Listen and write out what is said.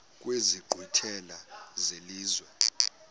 kwezi nkqwithela zelizwe